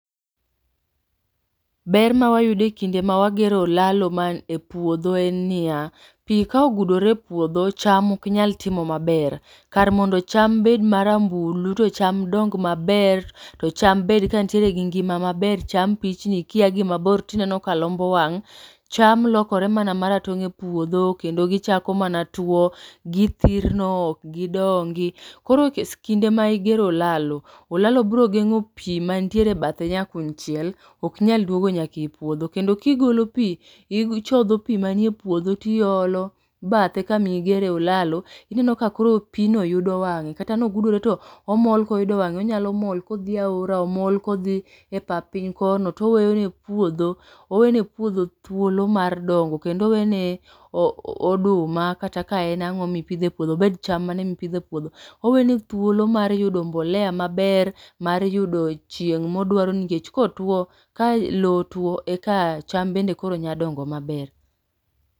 Ber ma wayudo kinde ma wagero olalo e puodho en niya, pi ka ogudore e puodho cham oknyal timo maber kar mondo cham bed marambulu to chma dong maber, to chma bed ka nitie gi ngima maber cham pichni ka ia gi maber to ineno ka lombo wang', cham lokore mana ma ratong' e puodho kendo gichako mana tuo, githirno ok gidongi. Koro kise kinde ma igero olalo, olalo biro geng'o pi mantie e bathe nyakuny chiel ok nyal duogo nyaka e puodho, kendo kigolo pi, ichodho pi manie puodho tiolo badhe kami gere e olalo, ineno ka koro pi no yudo wang'e. Kata ne ogudore to omol ka oyudo wang'e. Onyalo mol ka odhi e aora, omol kodhi e pap piny kono to oweyo ne puodho owene puodho thuolo mar dongo. Kendo owene oduma kata ka en ang'o mipidho e puodho, obed cham mane ma ipidho e puodho owene thuolo mar yudo mbolea maber, mar yudo chieng' ma odwaro nikech ka otuo, ka lo otuo eka chma bende koro nya dongo maber.